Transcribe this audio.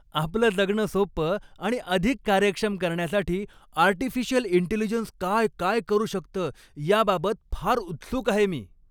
आपलं जगणं सोपं आणि अधिक कार्यक्षम करण्यासाठी आर्टिफिशियल इंटेलिजन्स काय काय करु शकतं याबाबत फार उत्सुक आहे मी.